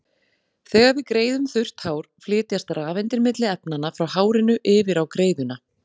Þegar við greiðum þurrt hár flytjast rafeindir milli efnanna, frá hárinu yfir á greiðuna.